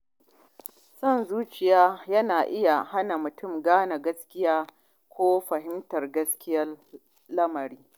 Son zuciya yana iya hana mutum gane gaskiya ko fahimtar gaskiyar lamarin.